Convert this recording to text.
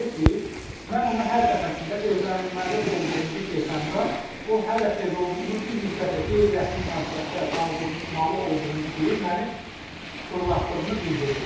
Belə ki, mən ona hər dəfəsində evlənilməli olduğumuzu desəmdə o hələ tez olduğunu, bir müddət də qeyri-rəsmi münasibətdə qalmalı olduğumuzu deyib məni fırlatdığını bildirirdi.